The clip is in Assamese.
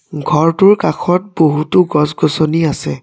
ঘৰটোৰ কাষত বহুতো গছ গছনি আছে।